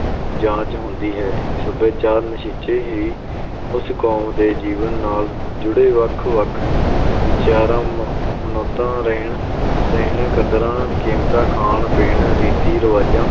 ਜਾਚ ਹੁੰਦੀ ਹੈ, ਸੱਭਿਆਚਾਰ ਨਿਸ਼ਚੇ ਹੀ ਉਸ ਕੌਮ ਦੇ ਜੀਵਨ ਨਾਲ ਜੁੜੇ ਵੱਖ-ਵੱਖ ਵਿਚਾਰਾਂ, ਮ~ ਮਨੌਤਾਂ, ਰਹਿਣ ਸਹਿਣ, ਕਦਰਾਂ-ਕੀਮਤਾਂ, ਖਾਣ- ਪੀਣ, ਰੀਤੀ-ਰਿਵਾਜਾਂ,